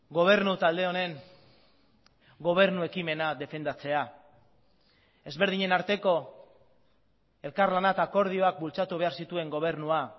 gobernu talde honen gobernu ekimena defendatzea ezberdinen arteko elkarlana eta akordioak bultzatu behar zituen gobernua